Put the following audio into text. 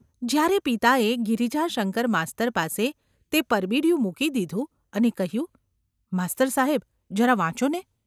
જ્યારે પિતાએ ગિરિજાશંકર માસ્તર પાસે તે પરબીડિયું મૂકી દીધું અને કહ્યું : ‘માસ્તર સાહેબ ! જરા વાંચો ને?